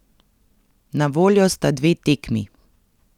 Na voljo sta dve tekmi.